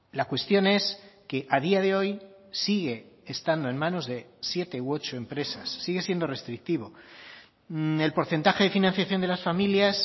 la cuestión es que a día de hoy sigue estando en manos de siete u ocho empresas sigue siendo restrictivo el porcentaje de financiación de las familias